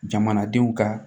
Jamanadenw ka